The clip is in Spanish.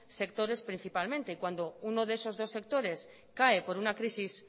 sectores principalmente y cuando uno de esos dos sectores cae por una crisis